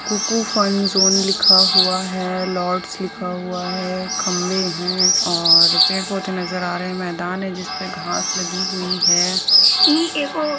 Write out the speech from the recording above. कूकू fun zone लिखा हुआ है लॉर्ड्स लिखा हुआ है खम्बे है और पेड़ पौधे नज़र आ रहे हैं मैदान है जिसमें घास लगी हुई है।